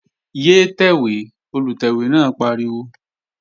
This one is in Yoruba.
Yé tẹ̀wé! Olùtẹ̀wé náà pariwo